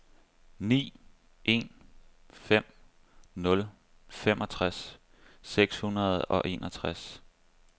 ni en fem nul femogtres seks hundrede og enogtres